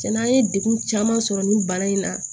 Cɛnna an ye degun caman sɔrɔ nin bana in na